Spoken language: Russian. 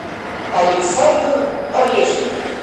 александр орешников